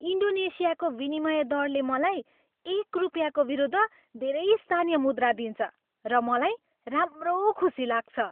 इन्डोनेसियाको विनिमय दरले मलाई एक रुपियाँको विरूद्ध धेरै स्थानीय मुद्रा दिन्छ र मलाई राम्रो खुशी लाग्छ।